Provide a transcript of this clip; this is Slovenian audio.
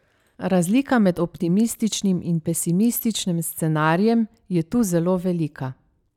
Razlika med optimističnim in pesimističnim scenarijem je tu zelo velika.